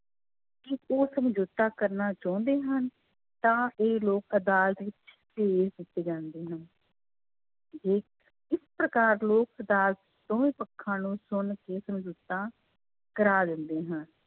ਕਿ ਉਹ ਸਮਝੋਤਾ ਕਰਨਾ ਚਾਹੁੰਦੇ ਹਨ, ਤਾਂ ਇਹ ਲੋਕ ਅਦਾਲਤ ਵਿੱਚ ਭੇਜ ਦਿੱਤੇ ਜਾਂਦੇ ਹਨ ਜੇ ਇਸ ਪ੍ਰਕਾਰ ਲੋਕ ਅਦਾਲਤ ਦੋਵੇਂ ਪੱਖਾਂ ਨੂੰ ਸੁਣ ਕੇ ਸਮਝੋਤਾ ਕਰਵਾ ਲੈਂਦੇ ਹਨ।